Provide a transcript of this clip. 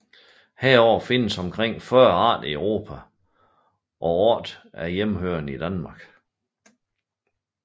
Heraf findes omkring 40 arter i Europa og 8 er hjemmehørende i Danmark